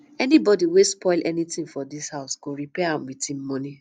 anybody wey spoil anything for dis house go repair am with im money